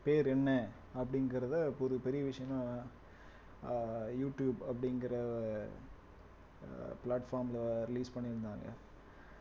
பேர் என்ன அப்படிங்கிறத ஒரு பெரிய விஷயமா அஹ் யூ டியூப் அப்படிங்கற ஆஹ் platform ல release பண்ணிருந்தாங்க